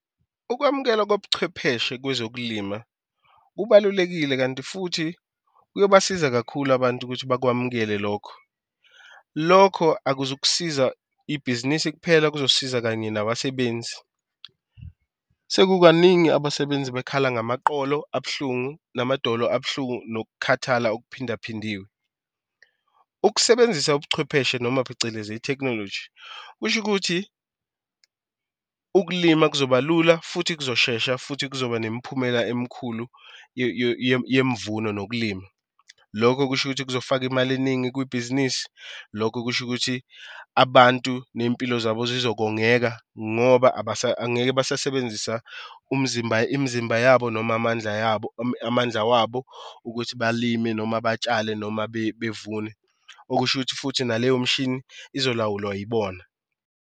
Ukwamukela kobuchwepheshe kwezokulima kubalulekile kanti futhi kuyobasiza kakhulu abantu ukuthi bakwamukele lokho. Lokho akuzukusiza ibhizinisi kuphela kuzosiza kanye nabasebenzi. Sekukaningi abasebenzi bekhala ngamaqolo abuhlungu, namadolo abuhlungu nokukhathala okuphindaphindiwe. Ukusebenzisa ubuchwepheshe noma phecelezi ithekhinoloji kusho ukuthi ukulima kuzoba lula futhi kuzoshesha futhi kuzoba nemiphumela emkhulu yemvuno nokulima. Lokho okusho ukuthi kuzofaka imali eningi kwibhizinisi, lokho kusho ukuthi abantu ney'mpilo zabo zizokongeka ngoba angeke basasebenzisa umzimba imizimba yabo noma amandla yabo amandla wabo ukuthi balime noma batshale noma bevune. Okusho ukuthi futhi naleyo mshini izolawulwa yibona.